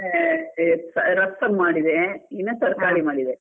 ಆಮೇಲೆ, ರಸಂ ಮಾಡಿದೆ ಇನ್ನ ತರ್ಕಾರಿ ಮಾಡಿದೆ.